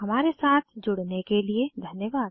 हमारे साथ जुड़ने के लिए धन्यवाद